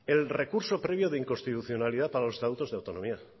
el recurso previo de inconstitucionalidad a los estatutos de autonomía